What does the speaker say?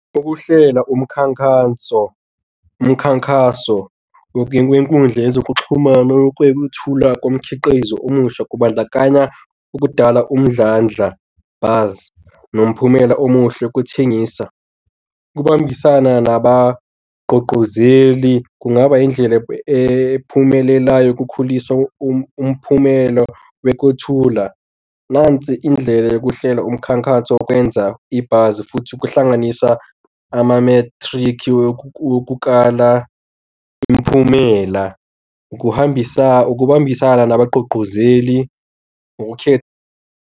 Ukuhlela umkhankanso, umkhankaso, okuyeni kwenkundla yezokuxhumana, ukwethula kumkhiqizo omusha, kubandakanya ukudala umdlandlabazi nomphumela omuhle wokuthengisa. Ukubambisana nabagqugquzeli kungaba indlela ephumelelayo ukukhulisa umphumela, wokuthula, nansi indlela yokuhlela umkhankaso wokwenza ibhasi futhi ukuhlanganisa ama-metric wokukala imiphumela, ukuhambisa ukubambisana nabagqugquzeli, ukukhetha.